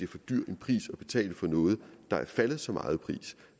for dyr en pris at betale for noget der er faldet så meget i pris